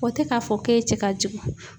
O tɛ k'a fɔ k'e cɛ ka jugu.